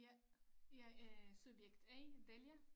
Ja jeg er subjekt A Delia